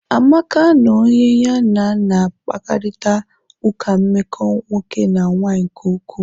Amaka na onye ya na na-akparịta ụka nmeko nwoke na nwanyị nke ukwuu.